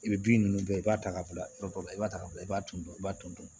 I bɛ bin ninnu bɛɛ i b'a ta ka bila yɔrɔ dɔ la i b'a ta ka bila i b'a ton i b'a ton ton